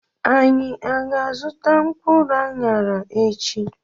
Anyị aga azụta mkpụrụ anyara echi?